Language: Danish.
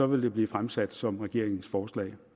vil det blive fremsat som regeringens forslag